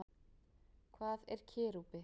Hvað er kerúbi?